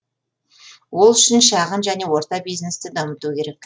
ол үшін шағын және орта бизнесті дамыту керек